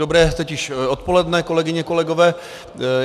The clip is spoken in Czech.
Dobré teď již odpoledne, kolegyně, kolegové.